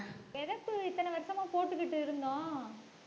விதப்பு இத்தனை வருஷமா போட்டுக்கிட்டு இருந்தோம்.